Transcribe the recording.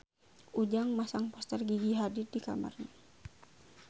Ujang masang poster Gigi Hadid di kamarna